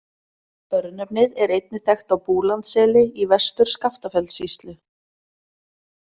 Örnefnið er einnig þekkt á Búlandsseli í Vestur-Skaftafellssýslu.